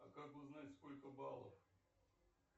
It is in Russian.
как узнать сколько баллов